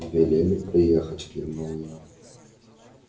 велели приехать кивнул я